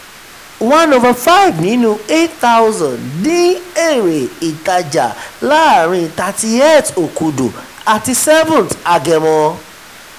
one over five nínú eight thousand dín èrè ìtajà laarin thirtieth okudu àti seventh agẹmọ.